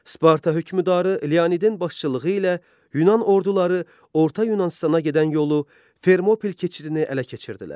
Sparta hökmdarı Leonidin başçılığı ilə Yunan orduları Orta Yunanıstana gedən yolu, Fermopil keçidini ələ keçirdilər.